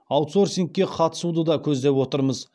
аутсорсингке қатысуды да көздеп отырмыз